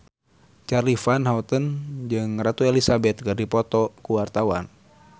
Charly Van Houten jeung Ratu Elizabeth keur dipoto ku wartawan